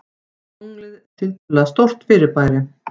Tunglið er tiltölulega stórt fyrirbæri.